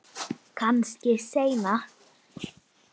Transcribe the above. Kannski seinna.